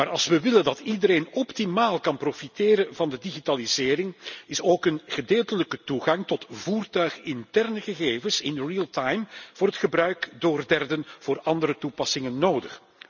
Maar als we willen dat iedereen optimaal kan profiteren van de digitalisering, is ook een gedeeltelijke toegang tot voertuiginterne gegevens in real time voor het gebruik door derden voor andere toepassingen nodig.